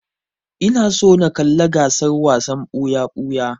Ina so na kalla gasar wasan ɓuya-ɓuya.